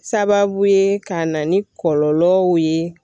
Sababu ye ka na ni kɔlɔlɔw ye.